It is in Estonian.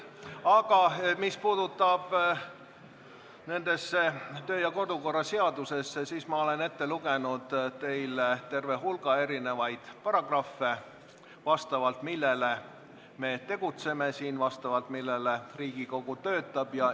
Aga mis puudutab kodu- ja töökorra seadust, siis ma olen teile ette lugenud terve hulga paragrahve, vastavalt millele me siin tegutseme ja vastavalt millele Riigikogu töötab.